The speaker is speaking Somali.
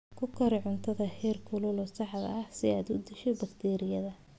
Ku kari cuntada heerkulka saxda ah si aad u disho bakteeriyada.